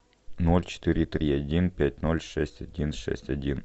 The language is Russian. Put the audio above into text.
ноль четыре три один пять ноль шесть один шесть один